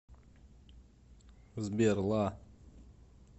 сбер ла